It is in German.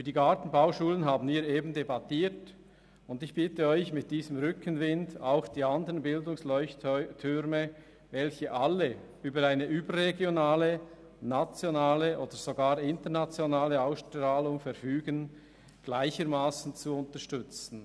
Über die Gartenbauschulen haben wir soeben debattiert, und ich bitte Sie, mit diesem Rückenwind die anderen Bildungsleuchttürme, welche alle über eine überregionale, nationale oder sogar internationale Ausstrahlung verfügen, gleichermassen zu unterstützen.